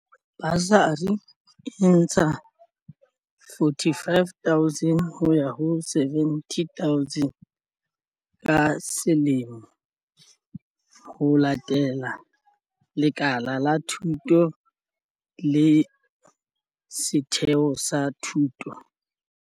Basari e ntsha R45 000 ho ya ho R70 000 ka selemo, ho latela lekala la thuto le setheo sa thuto.